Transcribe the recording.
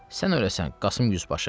Sən öləsən, Qasım Yüzbaşı!